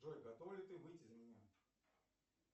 джой готова ли ты выйти за меня